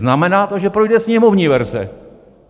Znamená to, že projde sněmovní verze.